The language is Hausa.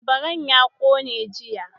Labaran ya kone jiya.